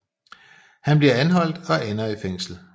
Han bliver anholdt og ender i fængsel